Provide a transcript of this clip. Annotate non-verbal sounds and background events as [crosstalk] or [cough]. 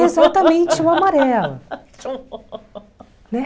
Exatamente, o amarelo. [laughs] Né?